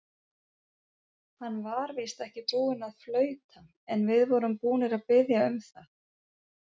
Hann var víst ekki búinn að flauta, en við vorum búnir að biðja um það.